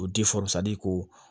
O ko